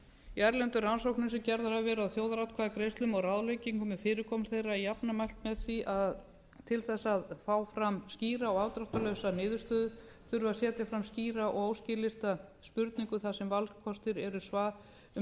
í erlendum rannsóknum sem gerðar hafa verið á þjóðaratkvæðagreiðslum og ráðleggingum um fyrirkomulag þeirra er jafnframt mælt með því að til þess að fá fram skýra og afdráttarlausa niðurstöðu þurfi að setja fram skýra og óskilyrta spurningu þar sem valkostir eru